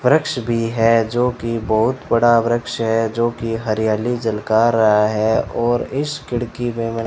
वृक्ष भी है जो की बहुत बड़ा वृक्ष है जो की हरियाली झलका रहा है और इस खिड़की में --